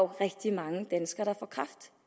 rigtig mange danskere der får kræft